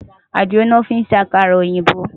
Àdìrò lò fin sé àkárà-óyinbó